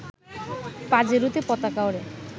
পাজেরোতে পতাকা ওড়ে